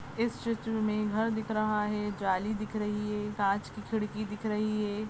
इस चित्र मे घर दिख रहा है जाली दिख रही हैं कांच कि खिडकी दिख रही है।